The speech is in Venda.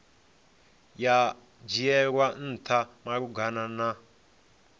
ya dzhielwa ntha malugana na